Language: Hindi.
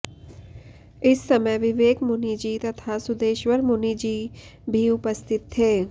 इस समय विवेक मुनि जी तथा सुदेशवर मुनि जी भी उपस्थित थे